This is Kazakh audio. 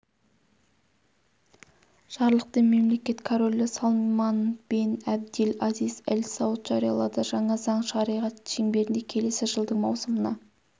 жарлықты мемлекет королі салман бен әбдель азиз әл-сауд жариялады жаңа заң шариғат шеңберінде келесі жылдың маусымына